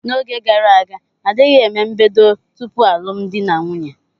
N'oge gara aga, a dịghị eme mbedo tupu alụmdi na nwunye.